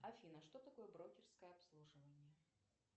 афина что такое брокерское обслуживание